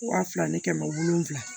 Waa fila ni kɛmɛ wolonwula